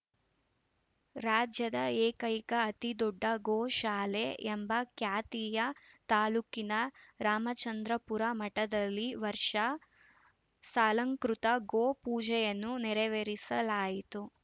ರಾಜ್ಯದ ಎಕೈಕ ಅತಿ ದೊಡ್ಡ ಗೋ ಶಾಲೆ ಎಂಬ ಖ್ಯಾತಿಯ ತಾಲೂಕಿನ ರಾಮಚಂದ್ರಪುರ ಮಠದಲ್ಲಿ ವರ್ಷ ಸಾಲಾಂಕೃತ ಗೋ ಪೂಜೆಯನ್ನು ನೆರವೇರಿಸಲಾಯಿತು